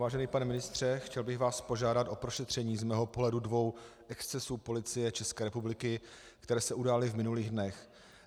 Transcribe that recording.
Vážený pane ministře, chtěl bych vás požádat o prošetření z mého pohledu dvou excesů Policie České republiky, které se udály v minulých dnech.